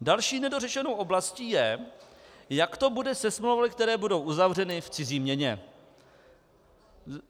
Další nedořešenou oblastí je, jak to bude se smlouvami, které budou uzavřeny v cizí měně.